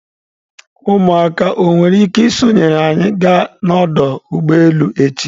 Ụmụaka o nwere ike isonyere anyị ga n'ọdụ ụgbọ elu echi?